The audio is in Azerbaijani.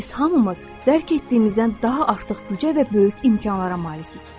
Biz hamımız dərk etdiyimizdən daha artıq büdcə və böyük imkanlara malikik.